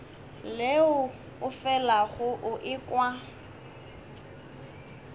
leo o felago o ekwa